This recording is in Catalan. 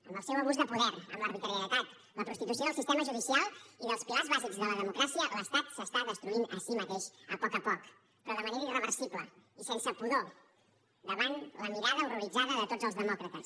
amb el seu abús de poder amb l’arbitrarietat la prostitució del sistema judicial i dels pilars bàsics de la democràcia l’estat s’està destruint a si mateix a poc a poc però de manera irreversible i sense pudor davant la mirada horroritzada de tots els demòcrates